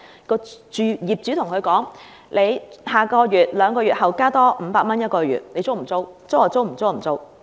業主可以對租客說：下個月或兩個月後加租500元，你租不租？